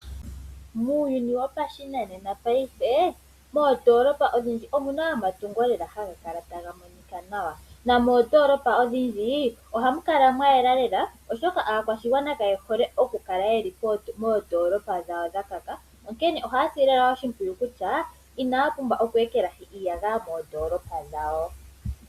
Muuyuni wopashinanena paife, moondoolopa odhindji omuna omatungo lela haga kala taga monika nawa, nomoondoolopa odhindji ohamu kala mwa yela lela, oshoka aakwashigwana kaye hole oku kala yeli moondoolopa dhawo dha kaka, onkene ohaya sile owala oshimpwiyu kutya inaya pumbwa oku ekelahi iiyagaya moondoolopa dhawo.